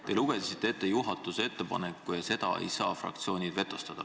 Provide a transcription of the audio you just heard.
Te lugesite ette juhatuse ettepaneku ja seda ei saa fraktsioonid vetostada.